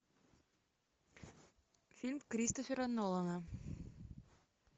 фильм кристофера нолана